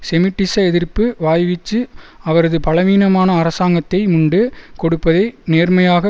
செமிட்டிசஎதிர்ப்பு வாய்வீச்சு அவரது பலவீனமான அரசாங்கத்தை முண்டு கொடுப்பதை நேர்மையாக